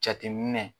Jateminɛ